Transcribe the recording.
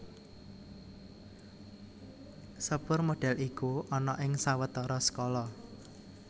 Sepur modèl iku ana ing sawetara skala